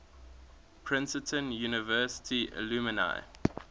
princeton university alumni